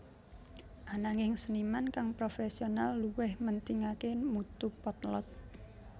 Ananging seniman kang profesional luwih mentingaké mutu potlot